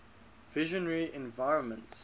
visionary environments